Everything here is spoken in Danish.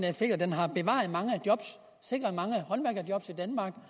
effekt at den har bevaret mange job sikret mange